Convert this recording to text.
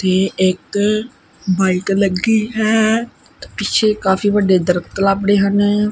ਏਹ ਇੱਕ ਬਾਈਕ ਲੱਗੀ ਹੈ ਪਿੱਛੇ ਕਾਫੀ ਵੱਡੇ ਦਰਖਤ ਲੱਭਣੇ ਹਨ।